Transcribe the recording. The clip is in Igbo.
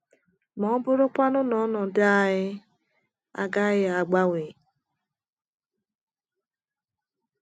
Ma ọ bụrụ kwanu na ọnọdụ anyị agaghị agbanwe?